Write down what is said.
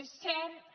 és cert